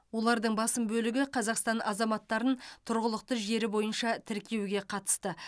олардың басым бөлігі қазақстан азаматтарын тұрғылықты жері бойынша тіркеуге қатысты